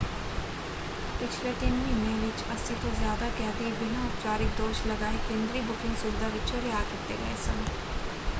ਪਿਛਲੇ ਤਿੰਨ ਮਹੀਨਿਆਂ ਵਿੱਚ 80 ਤੋਂ ਜ਼ਿਆਦਾ ਕੈਦੀ ਬਿਨਾਂ ਉਪਚਾਰਿਕ ਦੋਸ਼ ਲਗਾਏ ਕੇਂਦਰੀ ਬੁਕਿੰਗ ਸੁਵਿਧਾ ਵਿਚੋਂ ਰਿਹਾਅ ਕੀਤੇ ਗਏ ਸਨ।